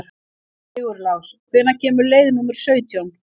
Sigurlás, hvenær kemur leið númer sautján?